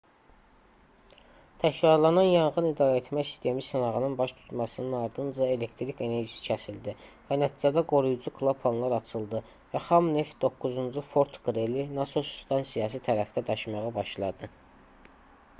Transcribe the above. təkrarlanan yanğın idarəetmə sistemi sınağının baş tutmasının ardınca elektrik enerjisi kəsildi və nəticədə qoruyucu klapanlar açıldı və xam neft 9-cu fort qreli nasos stansiyası tərəfdə daşmağa başladı